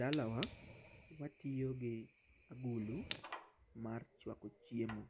Dalawa watiyo gi agulu mar chwako chiemo